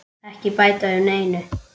Ekki bæta við neinu.